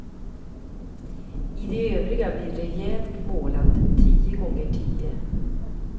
I de övriga blir det rejält målat, tio gånger tio.